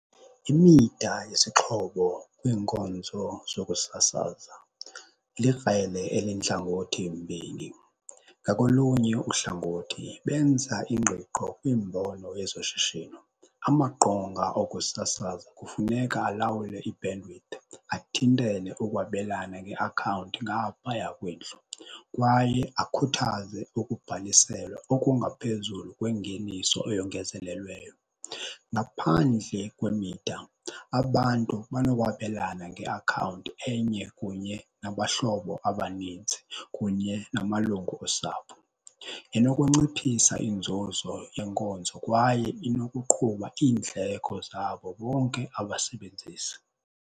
Imida yesixhobo kwiinkonzo zokusasaza likrele elintlangothi mbini. Ngakolunye uhlangothi benza ingqiqo kwiimbono yezoshishino. Amaqonga okusasaza kufuneka alawule i-bandwidth athintele ukwabelana ngeakhawunti ngaphaya kwendlu kwaye akhuthaze ukubhaliselwa okungaphezulu kwengeniso eyongezelelweyo. Ngaphandle kwemida abantu banokwabelana ngeakhawunti enye kunye nabahlobo abaninzi kunye namalungu osapho. Inokunciphisa inzuzo yenkonzo kwaye inokuqhuba iindleko zabo bonke abasebenzisi.